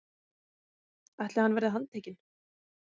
ætli hann verði handtekinn?